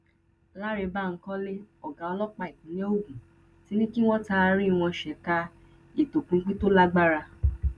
cc lánrẹ bankole ọgá ọlọpàá ìpínlẹ ogun ti ní kí wọn taari wọn ṣèkà ìtọpinpin tó lágbára